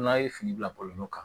N'a ye fini bila bɔlɔlɔ kan